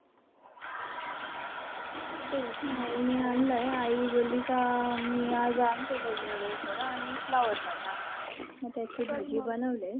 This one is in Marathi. आईने आणलाय. आई बोलली का मी आज आणते दही वगैरे थोडं आणि flower मटार. मी त्याची भाजी बनवलीय.